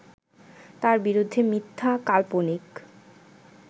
তার বিরুদ্ধে মিথ্যা, কাল্পনিক